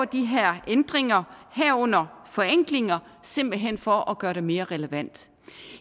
de her ændringer herunder forenklinger simpelt hen for at gøre det mere relevant